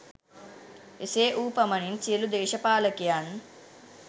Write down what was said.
එසේ වූ පමණින් සියලු දේශපාලකයන්